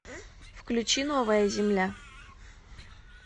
включи новая земля